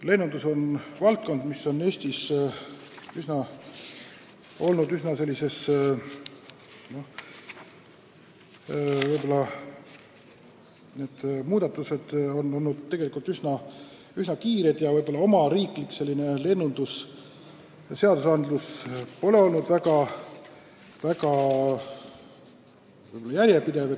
Lennundus on valdkond, mille muudatused on Eestis olnud üsna kiired ja võib-olla meie riigi lennundusega seotud õigusloome pole olnud väga järjepidev.